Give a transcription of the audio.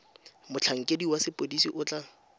motlhankedi wa sepodisi o tla